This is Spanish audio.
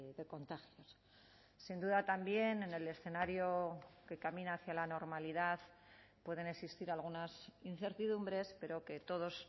de contagios sin duda también en el escenario que camina hacia la normalidad pueden existir algunas incertidumbres pero que todos